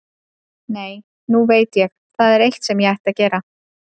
Nei, nú veit ég, það er eitt sem ég ætti að gera.